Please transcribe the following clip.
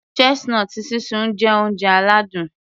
Chestnut sísun jẹ́ oúnjẹ aládùn